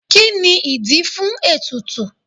Kí ni ìdí fún ètùtù?